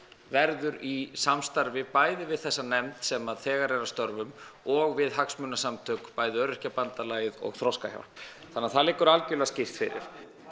verður í samstarfi bæði við þessa nefnd sem að þegar er að störfum og við hagsmunasamtök bæði Öryrkjabandalagið og Þroskahjálp þannig að það liggur algjörlega skýrt fyrir